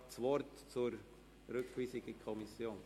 Wünscht er das Wort zur Rückweisung in die Kommission?